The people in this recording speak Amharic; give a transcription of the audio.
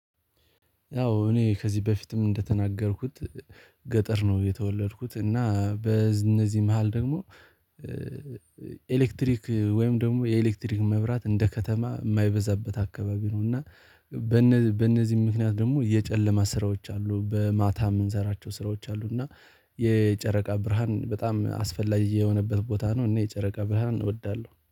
ያው እኔ ከዚህ በፊትም እንደተናገርኩት። ገጠር ነው የተወለድኩት እና በእነዚህ መሃል ደግሞ ኤሌክትሪክ ወይም ደግሞ የኤሌክትሪክ መብራት እንደ ከተማ የማይበዛበት አካባቢ ነው እና። በእነዚህም ምክንያት ደግሞ የጨለማ ስራዎች አሉ በማታ የምንሰራቸው ስራዎች አሉ እና። የጨረቃ ብርሃን በጣም አስፈላጊ የሆነበት ቦታ ነው እና የጨረቃ ብርሃን እወዳለሁ